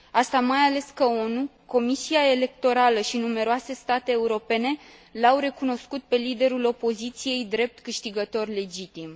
Asta mai ales că ONU, Comisia Electorală și numeroase state europene l au recunoscut pe liderul opoziției drept câștigător legitim.